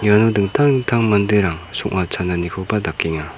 iano dingtang dingtang manderang song·a chananikoba dakenga.